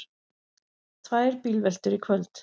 Tvær bílveltur í kvöld